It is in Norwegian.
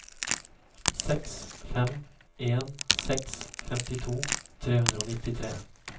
seks fem en seks femtito tre hundre og nittitre